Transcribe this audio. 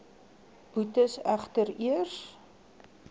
boetes egter eers